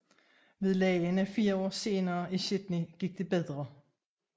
Ved legene fire år senere i Sydney gik det bedre